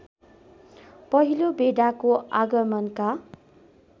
पहिलो बेडाको आगमनका